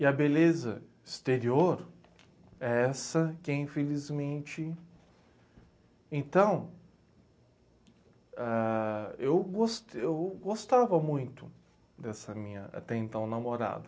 E a beleza exterior é essa que, infelizmente... Então, ãh... eu gos eu gostava muito dessa minha até então namorada.